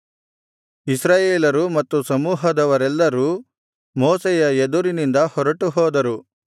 ಇಸ್ರಾಯೇಲರು ಮತ್ತು ಸಮೂಹದವರೆಲ್ಲರೂ ಮೋಶೆಯ ಎದುರಿನಿಂದ ಹೊರಟು ಹೋದರು